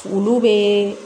Olu bɛ